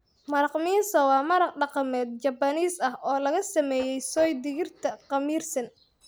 Maraq Miso waa maraq dhaqameed Japanese ah oo laga sameeyay soy digirta khamiirsan.